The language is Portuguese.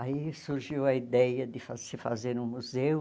Aí surgiu a ideia de fa se fazer um museu.